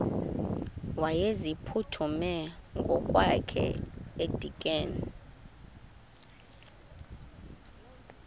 wayeziphuthume ngokwakhe edikeni